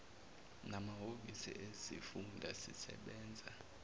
namahhovisi ezifunda sisebenza